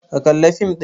Ka kalla fim ɗin!